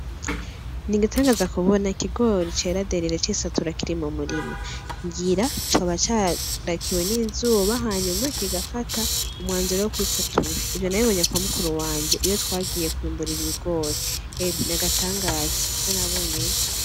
Ni igatangaza kubona kigori ceraderire cisatura kiri mu murima ngira coba cadakiwe n'izuba hanyuma kigafata umwanzure wo kwisatura ivyo nabibonye kwa mukuru wanje iyo twagiye kwiyumburira ibigore eme ni agatangaza vyo nabonyeho.